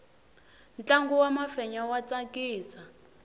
ntlangu wa mafenya wa tsakisa